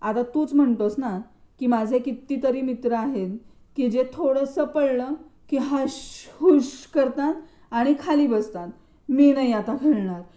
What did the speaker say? आता तूच म्हणतेस ना की माझे कितीतरी मित्र आहेत की ते थोडंसं पडलं की हाश हूश करतात आणि खाली बसतात मी नाय आता खेळणार.